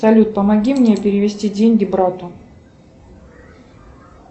салют помоги мне перевести деньги брату